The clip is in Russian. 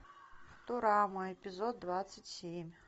футурама эпизод двадцать семь